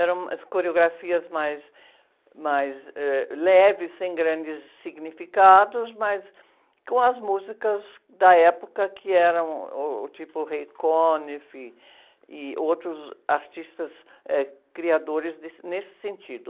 Eram as coreografias mais, mais, ãh, leves, sem grandes significados, mas com as músicas da época, que eram uh, o tipo e outros artistas, eh, criadores desse, nesse sentido.